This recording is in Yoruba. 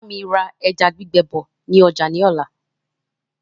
Bámi ra ẹja gbígbẹ bọ̀ ni ọjà ni ọ̀la.